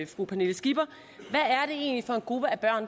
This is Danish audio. fru pernille skipper er